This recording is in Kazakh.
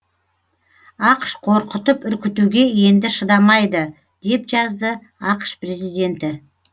ақш қорқытып үркітуге енді шыдамайды деп жазды ақш президенті